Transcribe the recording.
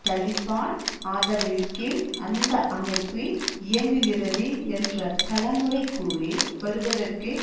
தலிபான் ஆதரவின் கீழ் அந்த அமைப்பு இயங்குகிறது என்ற பல முறை கூறி வருவதற்கு